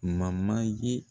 ye